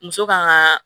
Muso kan ka